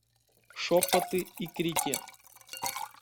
шепоты и крики